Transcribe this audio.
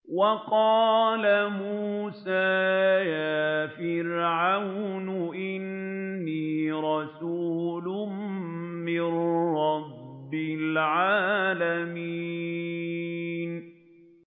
وَقَالَ مُوسَىٰ يَا فِرْعَوْنُ إِنِّي رَسُولٌ مِّن رَّبِّ الْعَالَمِينَ